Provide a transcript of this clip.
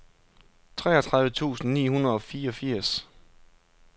treogtredive tusind ni hundrede og fireogfirs